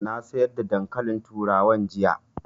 Na sayar da dankalin turawan jiya